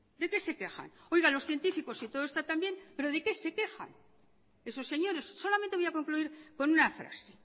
de qué se quejan oiga los científicos si todo está tan bien pero de qué se quejan esos señores solamente voy a concluir con una frase